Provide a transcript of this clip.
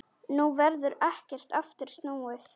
Nú verður ekki aftur snúið.